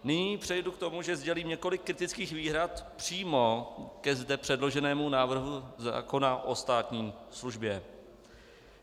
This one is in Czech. Nyní přejdu k tomu, že sdělím několik kritických výhrad přímo ke zde předloženému návrhu zákona o státní službě.